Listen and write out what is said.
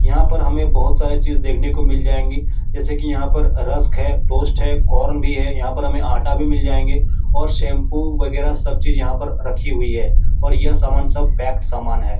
यहाँ पर हमे बहुत सारी चीज देखने को मिल जाएँगी। जैसे की यहाँ पर रस्ट है टोस्ट है कॉर्न भी है। यहाँ पर हमे आटा भी मिल जाएंगे और शैम्पू वगेरा सब चीज रखी हुई है और यह सामान सब पैक्ड सामान है।